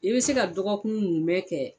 I bɛ se ka dɔgɔkun munmɛn kɛ.